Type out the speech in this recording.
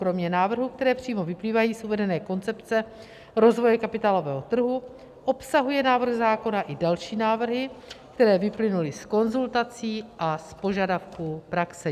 Kromě návrhů, které přímo vyplývají z uvedené koncepce rozvoje kapitálového trhu, obsahuje návrh zákona i další návrhy, které vyplynuly z konzultací a z požadavků praxe.